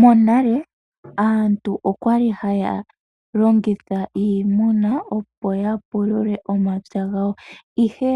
Monale aantu okwa li haya longitha iimuna opo ya pulule omapya gawo , ihe